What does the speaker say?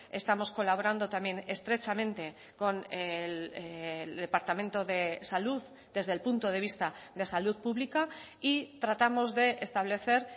estamos colaborando también estrechamente con el departamento de salud desde el punto de vista de salud pública y tratamos de establecer